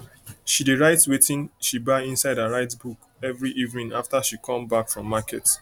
she dey write wetin she buy inside her write book every evening after she come back from market